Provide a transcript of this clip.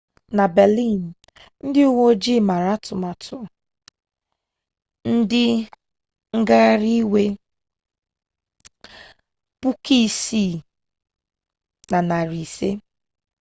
na berlin ndị uwe ojii mere atụmatụ ndị ngaghari iwe 6500